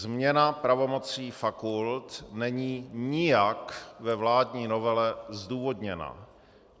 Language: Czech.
Změna pravomocí fakult není nijak ve vládní novele zdůvodněna.